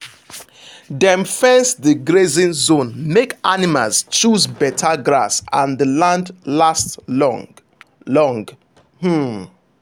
dem fence the grazing zone make animals choose better grass and the land last long. long. um